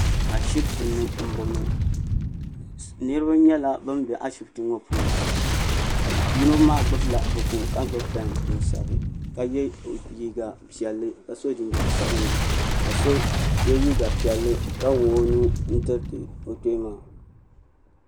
ashibiti ni n bɔŋɔ niraba nyɛla bin bɛ ashibiti ŋɔ puuni ka yino maa gbubila buku ka gbubi pɛn n sabira ka yɛ liiga piɛlli ka so jinjɛm sabinli ka so yɛ liiga piɛlli ka wuɣi o nuu n tiriti o kpee maa